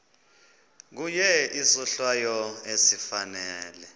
kuye isohlwayo esifanele